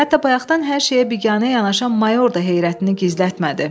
Hətta bayaqdan hər şeyə biganə yanaşan mayor da heyrətini gizlətmədi.